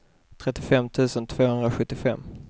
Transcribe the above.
trettiofem tusen tvåhundrasjuttiofem